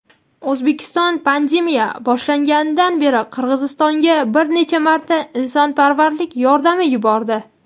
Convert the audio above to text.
O‘zbekiston pandemiya boshlanganidan beri Qirg‘izistonga bir necha marta insonparvarlik yordami yubordi.